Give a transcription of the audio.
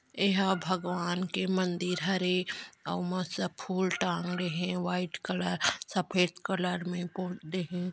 एहा भगवान के मंदिर हरे अउ मस्त फुल टांग दे हे व्हाइट कलर सफेद कलर में दे हे।